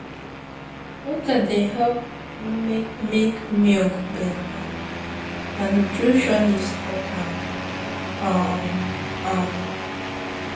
water dey help make make milk better na nutritionist talk um am.